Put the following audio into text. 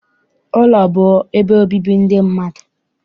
Ụlọ bụ ebe obibi ndị mmadụ.